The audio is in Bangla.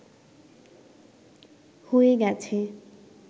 হয়ে গেছে